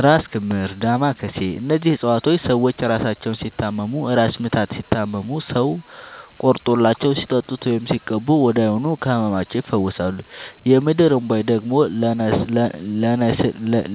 እራስ ክምር ዳማ ከሴ እነዚህ ፅፀዋቶች ሰዎች እራሳቸውን ሲታመሙ እራስ ምታት ሲታመሙ ሰው ቆርጦላቸው ሲጠጡት ወይም ሲቀቡ ወዲያውኑ ከህመማቸው ይፈወሳሉ። የምድር እንቧይ ደግሞ